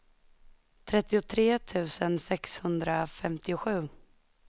trettiotre tusen sexhundrafemtiosju